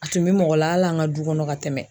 A tun be mɔgɔ la al' an ka du kɔnɔ ka tɛmɛ